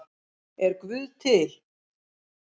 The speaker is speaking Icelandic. Er guð til